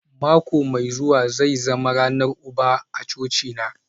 Mako mai zuwa zai zama ranar uba a cocina